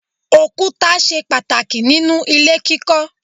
Òkúta ṣe pàtàkì ninu ilé kíkọ́.